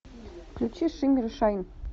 включи шиммер и шайн